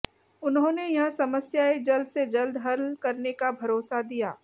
उन्होंने यह समस्याएँ जल्द से जल्द हल करने का भरोसा दिया